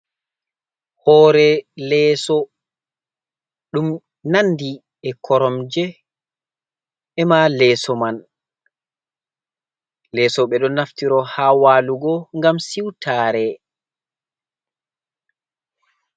Hoore leeso ɗum nanndi e koromje, emaa leeso man. Leeso ɓe ɗo naftiro haa waalugo ngam siwtaare.